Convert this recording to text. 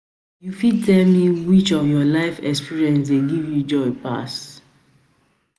you fit tell me me which of your life experiences dey give you joy pass?